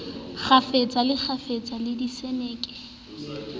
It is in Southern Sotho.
kgafetsa le kgafetsa le diseneke